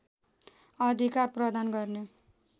अधिकार प्रदान गर्ने